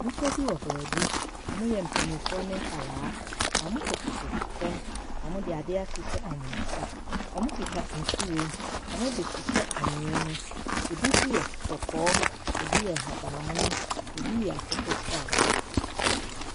Nnipa bi wɔ baabi. Wɔyɛ mpanimfoɔ ne nkwaraa. Wɔkotokoto fam. Wɔde adeɛ ahyehyɛ wɔn nsa. Wɔkita nhwiren. Wɔdehyehyɛ anwea mu. Ebinso yɛ kɔkɔɔ. Ebi yɛ ahabanmono. Ebi yɛ akokɔsradeɛ.